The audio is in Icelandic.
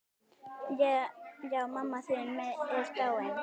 Já, mamma mín er dáin.